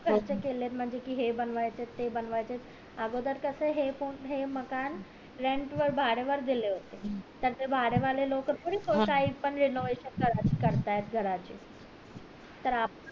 म्हणजे कि हे बनवायचेत ते बनवायचेत अगोदर कास हे मकान rant वर भाड्या वर दिले होते तर ते भाडे वाले लोक थोडी renovation करतायत घराचे तर आपण